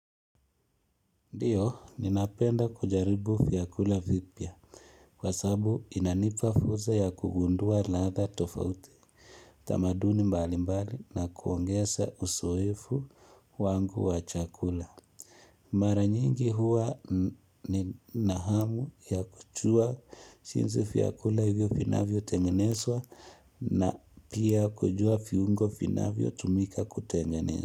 Ndiyo, ninapenda kujaribu vyakula vipya kwa sababu inanipa fursa ya kugundua latha tofauti, tamaduni mbali mbali na kuongeza uzoefu wangu wachakula. Mara nyingi huwa ninahamu ya kujua jinsi vyakula hivyo vinavyo tengeneswa na pia kujua vuungo vinavyo tumika kutengeneswa.